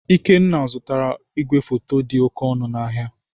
Ikenna zụtara igwefoto dị oke ọnụ n'ahịa.